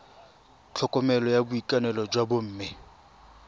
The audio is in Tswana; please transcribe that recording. tlhokomelo ya boitekanelo jwa bomme